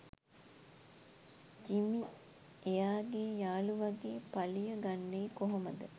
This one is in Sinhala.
ජිමි එයාගේ යාළුවගේ පලිය ගන්නේ කොහොමද